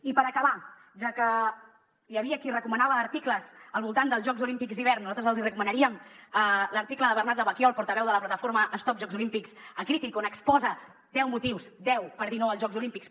i per acabar ja que hi havia qui recomanava articles al voltant dels jocs olímpics d’hivern nosaltres els hi recomanaríem l’article de bernat lavaquiol portaveu de la plataforma stop jocs olímpics a crític on exposa deu motius deu per dir no als jocs olímpics